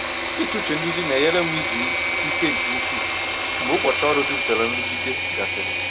Ịtụ uche nduzi na-enyere m izu ike nke ukwuu mgbe ụbọchị ọrụ jupụtara nrụgide gasịrị.